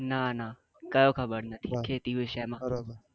ના ના કયો ખબર નથી ખેતી વિષે માં